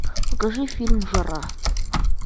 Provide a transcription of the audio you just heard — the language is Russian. покажи фильм жара